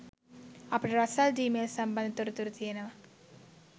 අපිට රසල් ඩී මෙල් සම්බන්ධ තොරතුරු තියෙනවා.